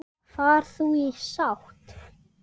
Far þú í sátt.